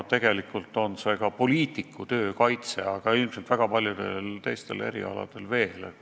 Tegelikult on see ka poliitiku töö kaitsmine ja ilmselt väga paljudel teistel erialadel veel.